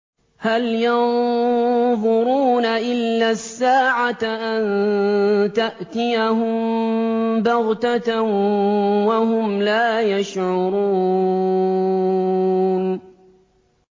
هَلْ يَنظُرُونَ إِلَّا السَّاعَةَ أَن تَأْتِيَهُم بَغْتَةً وَهُمْ لَا يَشْعُرُونَ